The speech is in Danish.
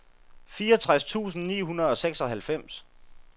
fireogtres tusind ni hundrede og seksoghalvfems